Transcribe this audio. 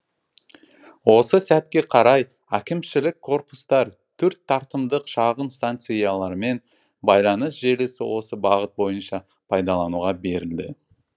осы сәтке қарай әкімшілік корпустар төрт тартымдық шағын станциялар мен байланыс желісі осы бағыт бойынша пайдалануға берілді